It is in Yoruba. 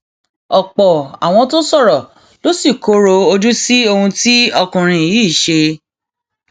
ọpọ àwọn tó sọrọ ló sì kọrọ ojú sí ohun tí ọkùnrin yìí ṣe